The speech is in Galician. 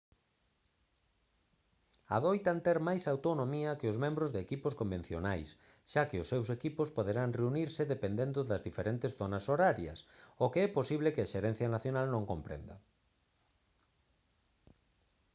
adoitan ter máis autonomía que os membros de equipos convencionais xa que os seus equipos poderán reunirse dependendo das diferentes zonas horarias o que é posible que a xerencia nacional non comprenda